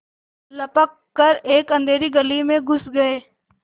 लपक कर एक अँधेरी गली में घुस गये